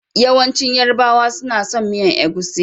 Yawancin yarbawa suna son miyan egusi.